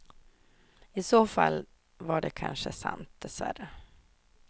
I så fall var det kanske sant, dess värre.